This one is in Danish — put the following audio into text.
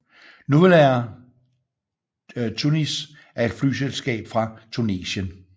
Nouvelair Tunisie er et flyselskab fra Tunesien